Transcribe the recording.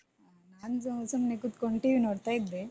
ಹ ನಾನ್ ಸೊ~ ಸುಮ್ನೆ ಕೂತ್ಕೊಂಡ್ TV ನೋಡ್ತಾ ಇದ್ದೆ.